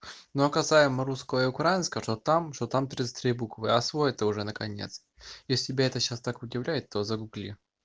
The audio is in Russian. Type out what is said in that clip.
но касаемо русского и украинского что там что там тридцать три буквы освой это уже наконец если тебя это сейчас так удивляет то загугли